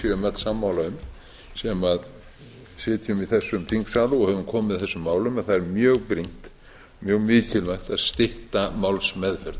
öll sammála um sem sitjum í þessum þingsal og höfum komið að þessum málum að það er mjög brýnt mjög mikilvægt að stytta málsmeðferð